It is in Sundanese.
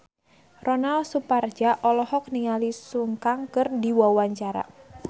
Ronal Surapradja olohok ningali Sun Kang keur diwawancara